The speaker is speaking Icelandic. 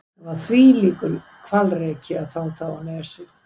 Það var þvílíkur hvalreki að fá þá á Nesið.